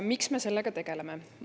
Miks me sellega tegeleme?